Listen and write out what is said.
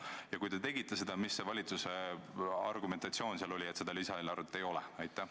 Ja kui te tegite seda, siis milline oli valitsuse argumentatsioon jätta see lisaeelarve tegemata?